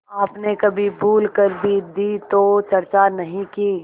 आपने कभी भूल कर भी दी तो चर्चा नहीं की